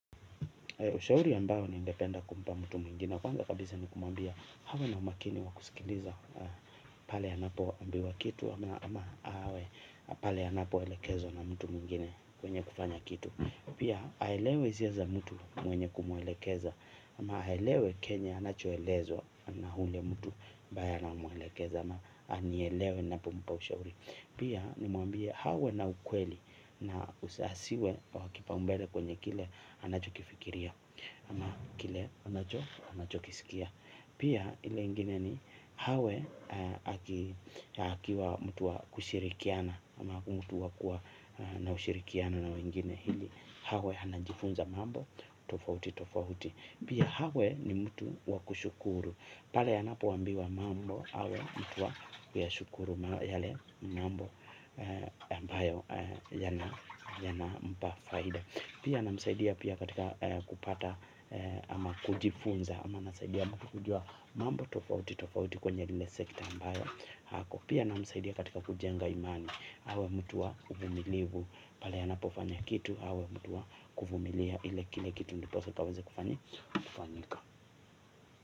Ushauri ambao ningependa kumpa mtu mwingine. Kwanza kabisa ni kumwambia awe na umakini wa kusikiliza pale anapo ambiwa kitu. Ama awe pale anapo elekezwa na mtu mwingine kwenye kufanya kitu. Pia aelewe hisia za mtu mwenye kumuelekeza. Ama aelewe chenye anachoelezwa na yule mtu ambaye anamwelekeza ama anielewe ninapompa ushauri pia nimwambie awe na ukweli na asiwe wa kipaumbele kwenye kile anachokifikiria ama kile anacho anachokisikia pia ile ingine ni awe akiwa mtu wa kushirikiana ama mtu wa kuwa na ushirikiano na wengine ili awe anajifunza mambo tofauti tofauti pia awe ni mtu wa kushukuru pale anapoambiwa mambo awe mtu wa kuyashukuru yale mambo ambayo yanampa faida. Pia namsaidia pia katika kupata ama kujifunza ama nasaidia mtu kujua mambo tofauti tofauti kwenye lile sekta ambayo ako. Pia namsaidia katika kujenga imani awe mtu wa uvumilivu. Pale anapofanya kitu awe mtu wa kuvumilia ile kile kitu ndiposa kikaweze kufanyika.